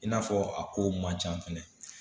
I n'a fɔ a kow man ca fɛnɛ